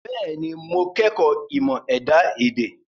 Bẹ́ẹ̀ni, mo kọ́ ẹ̀kọ́ ìmọ̀ ẹ̀dá-èdè.